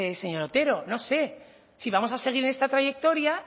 señor otero no sé si vamos a seguir en esta trayectoria